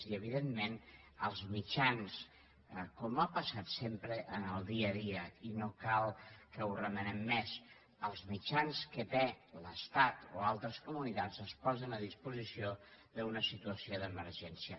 i evidentment els mitjans com ha passat sempre en el dia a dia i no cal que ho remenem més que tenen l’estat o altres comunitats es posen a disposició d’una situació d’emergència